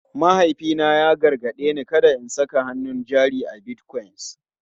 Mahaifina ya gargaɗe ni kada in saka hannun jari a Bitcoin.